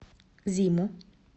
зиму